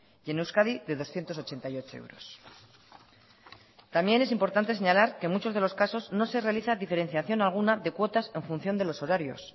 y en euskadi de doscientos ochenta y ocho euros también es importante señalar que muchos de los casos no se realizan diferenciación alguna de cuotas en función de los horarios